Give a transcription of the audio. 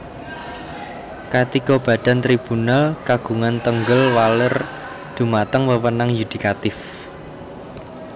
Katiga badan Tribunal kagungan tenggel waler dhumateng wewenang yudikatif